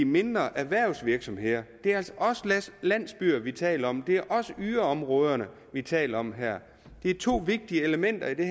mindre erhvervsvirksomheder det er også landsbyer vi taler om det er også yderområderne vi taler om her det er to vigtige elementer i det